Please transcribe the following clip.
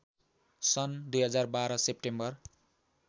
सन् २०१२ सेप्टेम्बर